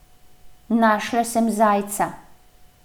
Našla sem zajca.